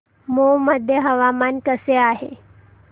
मौ मध्ये हवामान कसे आहे